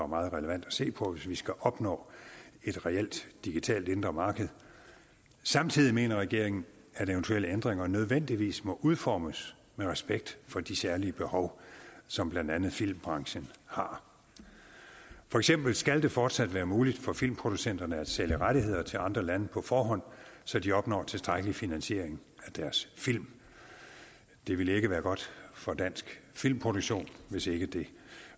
meget relevant at se på hvis vi skal opnå et reelt digitalt indre marked samtidig mener regeringen at eventuelle ændringer nødvendigvis må udformes med respekt for de særlige behov som blandt andet filmbranchen har for eksempel skal det fortsat være muligt for filmproducenterne at sælge rettigheder til andre lande på forhånd så de opnår tilstrækkelig finansiering af deres film det ville ikke være godt for dansk filmproduktion hvis ikke det